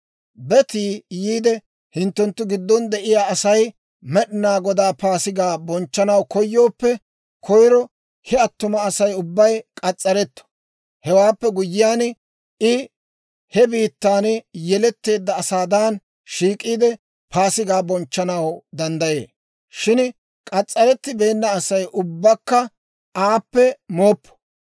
«Betii yiide hinttenttu giddon de'iyaa Asay Med'inaa Godaa Paasigaa bonchchanaw koyooppe, koyro he attuma Asay ubbay k'as's'aretto. Hewaappe guyyiyaan I he biittaan yeletteedda asaadan shiik'iide, Paasigaa bonchchanaw danddayee. Shin k'as's'arettibeenna Asay ubbakka aappe mooppo.